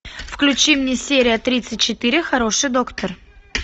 включи мне серия тридцать четыре хороший доктор